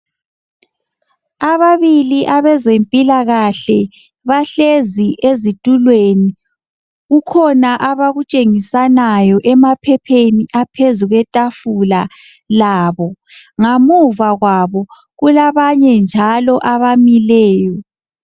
Ababili abezempilakahle bahlezi ezitulweni , kukhona abakutshengisanayo emaphepheni aphezu kwetafula labo. Ngamuva kwabo kulabanye njalo abamileyo.